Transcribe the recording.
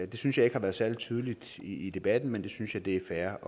det synes jeg ikke har været særlig tydeligt i i debatten men jeg synes at det er fair